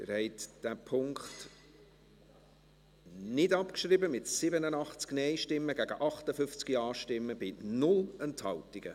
Sie haben diesen Punkt nicht abgeschrieben, mit 87 Nein- gegen 58 Ja-Stimmen bei 0 Enthaltungen.